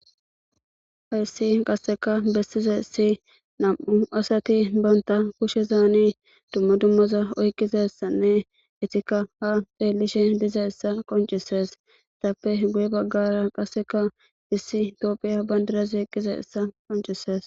Hayssi qasseka besizaysi nam'u asati banta kushezani dumma dummaza oyqizaysanne eetika ha xeelishe dizaysa qoncises; eetappe guye bagaara qasseka issi tophphiya bandirazi eqqizayssa qoncises.